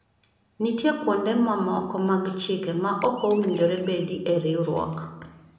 nitie kuonde mamoko mag chike ma ok owinjore bedi e riwruok